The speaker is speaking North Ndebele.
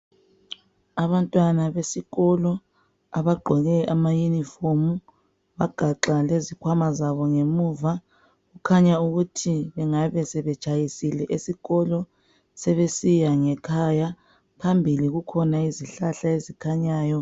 Abantwana besikolo, abagqoke amayunifomu. Bagaxa lezikhwama zabongemuva. Kukhanya ukuthi bangabe sebetshayisile esikolo. Sebesiya ngekhaya. Phambili kukhona izihlahla ezikhanyayo.